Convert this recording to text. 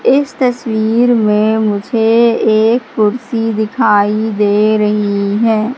इस तस्वीर में मुझे एक कुर्सी दिखाई दे रही है।